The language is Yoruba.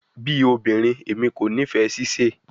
Bi obinrin, Emi ko nifẹ sise